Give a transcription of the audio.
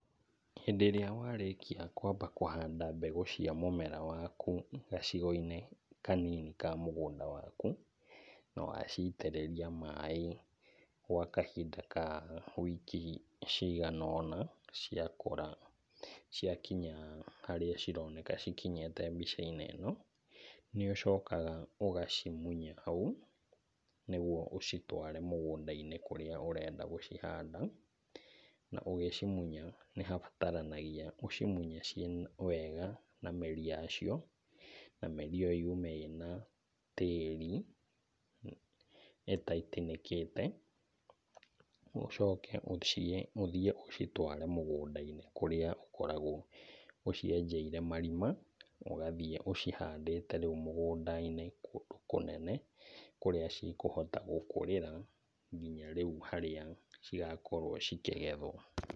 Hĩndĩ ĩrĩa warĩkia kwamba kũhanda mbegũ cia mũmera waku gacigo-inĩ kanini ka mũgũnda waku, na waciitĩrĩria maĩ gwa kahinda ka wiki cigana ũna, ciakũra ciakinya harĩa cironeka cikinyĩte hau mbica-inĩ ĩno, nĩũcokaga ũgacimunya hau nĩguo ũcitware mũgũnda-inĩ kũrĩa ũrenda gũcihanda na ũgĩcimunya nĩhabataranagia ũcimunye ciĩna wega na mĩri yacio, na mĩri ĩyo yume ĩna tĩri ĩtaitinĩkĩte, ũcoke ũthiĩ ũcitware mũgũnda-inĩ kũrĩa ũkoragwo ũcienjeire marima ũgathiĩ ũcihandĩte rĩu mũgũnda-inĩ kũndũ kũnene kũrĩa cikũhota gũkũrĩra kinya rĩu harĩa cigakorwo cikĩgethwo.